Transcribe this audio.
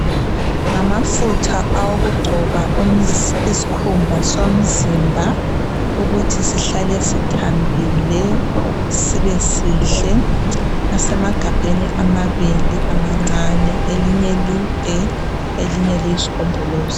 Ngamafutha awokungcoba iskhumba somzimba ukuthi sihlale sithambile sibe sihle asemagabheni amabili amancane elinye lide elinye liyisigombolazi